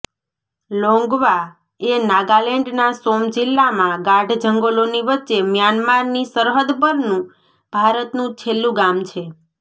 લોંગવા એ નાગાલેન્ડના સોમ જિલ્લામાં ગાઢ જંગલોની વચ્ચે મ્યાનમારની સરહદ પરનું ભારતનું છેલ્લું ગામ છે